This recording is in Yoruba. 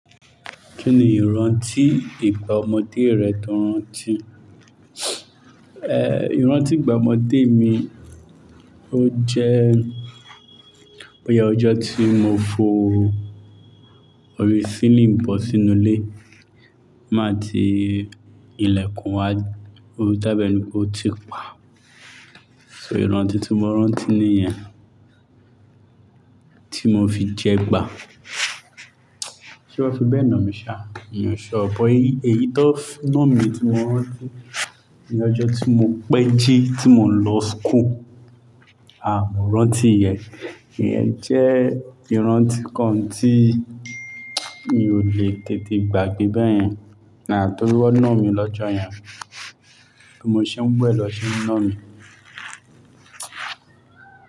Kí ni ìrántí ìgbà ọmọdé rẹ tó rántí? Ehn, ìrántí ìgbà ọmọdé mi ó jẹ́, boya ọjọ́ tí mo fọ orí sílíǹ bó sínú ilé. Má tí ilẹ̀kùn wá, ó tàbẹ́ ni kó ti pa. So ìrántí tí mo rántí ní ìyẹn, tí mo fi jẹ gbá. Ṣé wọ́n fi bẹ́ẹ̀ na mí sa? Iyen o ṣuo, bo ẹyí tó fún ná mi tí mo rántí ni ọjọ́ tí mo pẹ́ jí tí mò ń lọ school. À mọ́ rántí ìyẹn, ìyẹn jẹ́ ìrántí kan tí mi ò lè tètè gbàgbé bẹ́ẹ̀ yẹn. Ah tori won ná mi lọ́jọ́ yẹn, bí mo ṣe ń wẹ̀ lọ ṣe ń ná mi.